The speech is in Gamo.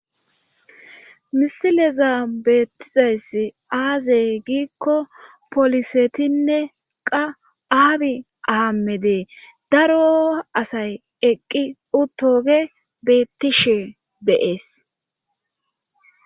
Misileza beettizayss aazey giikko polisetinne qa aabi aamede daro asay eqqi utoge beettishe deees.